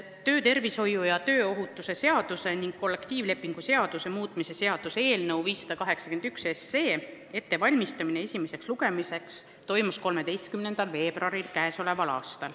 Töötervishoiu ja tööohutuse seaduse ning kollektiivlepingu seaduse muutmise seaduse eelnõu 581 ettevalmistamine esimeseks lugemiseks toimus 13. veebruaril.